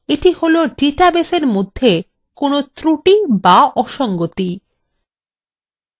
এটা হলো ডাটাবেসের মধ্যে কোনো একটি ত্রুটি বা অসঙ্গতি